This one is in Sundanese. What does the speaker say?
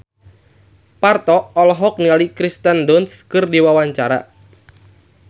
Parto olohok ningali Kirsten Dunst keur diwawancara